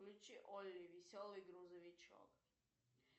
включи олли веселый грузовичок